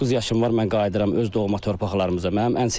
39 yaşım var, mən qayıdıram öz doğma torpaqlarımıza.